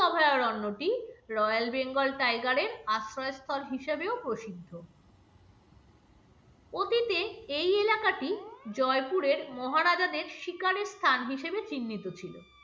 এই অভয়ারণ্যটি royal bengal tiger র আশ্রয়স্থল হিসাবেও প্রসিদ্ধ অতীতে এই এলাকাটি জয়পুরের মহারাজাদের শিকারের স্থান হিসেবে চিহ্নিত ছিল।